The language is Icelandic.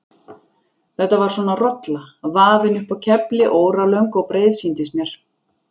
Þetta var svona rolla, vafin upp á kefli, óralöng og breið sýndist mér.